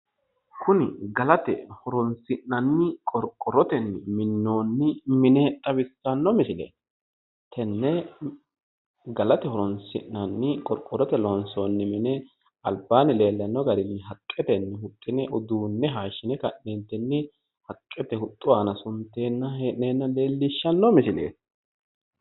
Kuni galate horoonsi'nanni qorqorrote minnoonni mine xawissanno misileeti. Tenne galate horoonsi'nanni qorqorrote loonsoonni mine albaanni leellanno garinni haqqetenni huxxine uduunne hayishshine ka'neentinni haqqete huxxu aana sunte hee'neenna leellishshanno misileeti.